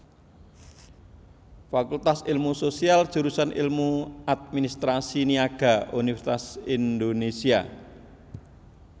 Fakultas Ilmu Sosial Jurusan Ilmu Administrasi Niaga Universitas Indonésia